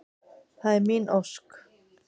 Það er mín ósk.